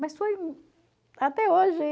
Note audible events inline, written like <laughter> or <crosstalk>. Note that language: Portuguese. Mas foi <unintelligible> até hoje.